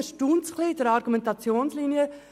Uns erstaunt die Argumentationslinie.